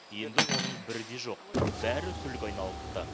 енді оның бірі де жоқ бәрі күлге айналыпты